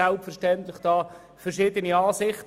Selbstverständlich darf man auch anderer Ansicht sein.